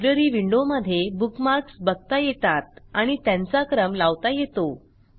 library विंडोमधे bookmarks बघता येतात आणि त्यांचा क्रम लावता येतो